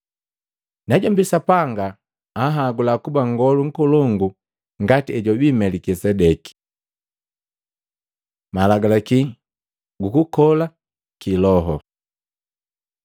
najombi Sapanga anhagula kuba nngolu nkolongu ngati hejwabii Melikisedeki. Malagalaki gukukola ki loho